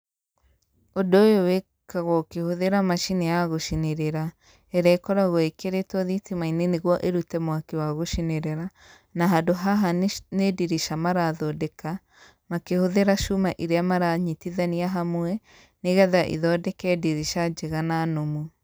Ũndũ ũyũ wĩkĩkaga ũkĩhũthĩra macini ya gũcinĩrĩra ĩrĩa ĩkoragwo ĩkĩritwo thitima-inĩ nĩguo ĩrute mwaki wa gũcinĩrĩra, na handũ haha nĩ ndirica marathondeka makĩhũthĩra cuma iria maranyitithania hamwe, nĩgetha ithondeke ndirica njega na nũmu.